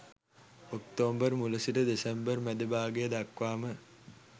October මුල සිට December මැද භාගය දක්වාම